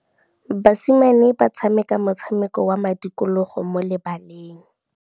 Basimane ba tshameka motshameko wa modikologô mo lebaleng.